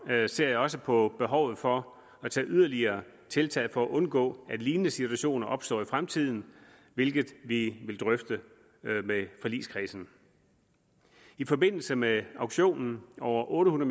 jeg ser også på behovet for at tage yderligere tiltag for at undgå at lignende situationer opstår i fremtiden hvilket vi vil drøfte med forligskredsen i forbindelse med auktionen over otte